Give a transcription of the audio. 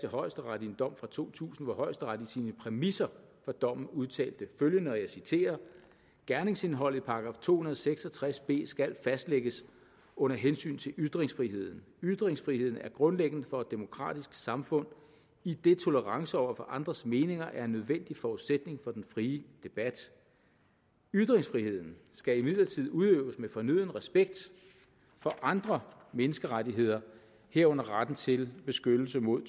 højesteret i en dom fra to tusind hvor højesteret i sine præmisser for dommen udtalte følgende og jeg citerer gerningsindholdet i § to hundrede og seks og tres b skal fastlægges under hensyn til ytringsfriheden ytringsfriheden er grundlæggende for et demokratisk samfund idet tolerance over for andres meninger er en nødvendig forudsætning for den frie debat ytringsfriheden skal imidlertid udøves med fornøden respekt for andre menneskerettigheder herunder retten til beskyttelse mod